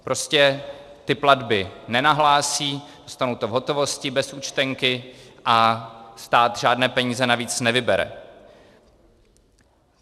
Prostě ty platby nenahlásí, dostanou to v hotovosti, bez účtenky a stát žádné peníze navíc nevybere.